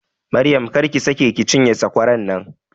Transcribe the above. Maryam, kar ki sake ki cinye sakwaran nan!